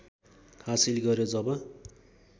हासिल गर्‍यो जब